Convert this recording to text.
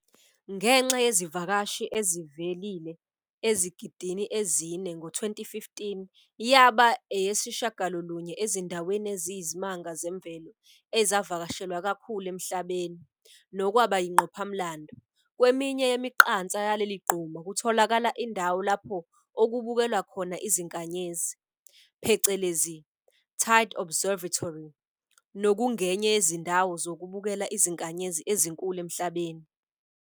Ngenxa yezivakashi ezevile ezigidini ezine, ngo 2015 yaba eyesishiyagalolunye ezindaweni eziyiZimanga Zemvelo ezivakashelwa kakhulu emhlabeni, nokwaba yingqophamlando. Kweminye yemiqansa yaleligquma kutholakala indawo lapho okubukelwa khona izinkanyezi, phecelezi, Teide Observatory, nokungenye yezindawo zokubukela izinkanyezi ezinkulu emhlabeni.